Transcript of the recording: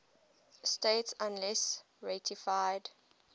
states unless ratified